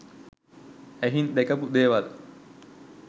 ඇහින් දැකපු දේවල්